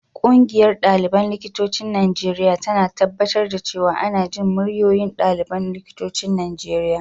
Ƙungiyar ɗaliban likitocin Najeriya tana tabbatar da cewa ana jin muryoyin ɗaliban likitocin Najeriya.